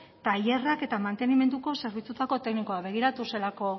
tailerrak eta mantenimenduko zerbitzuetako teknikoak begiratu zelako